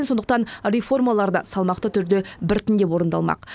сондықтан реформалар да салмақты түрде біртіндеп орындалмақ